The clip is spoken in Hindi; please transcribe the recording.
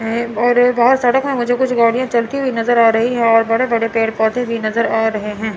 एं और ये बहोत सड़क हैं मुझे कुछ गाड़ियां चलती हुई नजर आ रही है और बड़े बड़े पेड़ पौधे भी नजर आ रहे हैं।